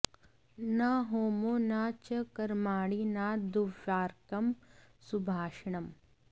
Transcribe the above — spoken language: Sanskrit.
न होमो न च कर्माणि न दुर्वाक्यं सुभाषणम्